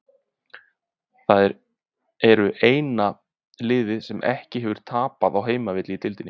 Þeir eru eina liðið sem ekki hefur tapað á heimavelli í deildinni.